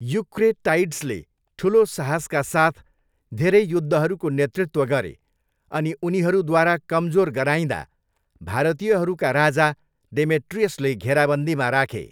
युक्रेटाइड्सले ठुलो साहसका साथ धेरै युद्धहरूको नेतृत्व गरे, अनि उनीहरूद्वारा कमजोर गराइँदा, भारतीयहरूका राजा डेमेट्रियसले घेराबन्दीमा राखे।